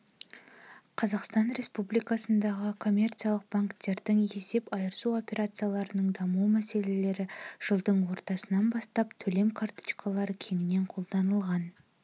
қазақстан республикасындағы коммерциялық банктердің есеп айырысу операцияларының даму мәселелері жылдың ортасынан бастап төлем карточкалары кеңінен қолданылған